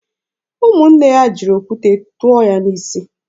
Ụmụnne ya jiri okwute tụọ ya n'isi.